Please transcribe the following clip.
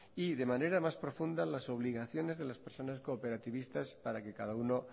y de manera más profunda las obligaciones de las personas cooperativistas para que cada uno